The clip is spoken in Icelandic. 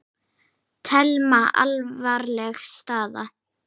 Telma: Alvarleg staða?